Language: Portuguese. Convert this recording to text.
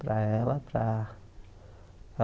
Para ela